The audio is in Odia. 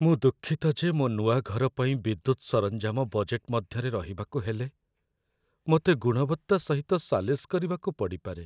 ମୁଁ ଦୁଃଖିତ ଯେ ମୋ ନୂଆ ଘର ପାଇଁ ବିଦ୍ୟୁତ ସରଞ୍ଜାମ ବଜେଟ୍‌‌‌ ମଧ୍ୟରେ ରହିବାକୁ ହେଲେ, ମୋତେ ଗୁଣବତ୍ତା ସହିତ ସାଲିସ କରିବାକୁ ପଡ଼ିପାରେ।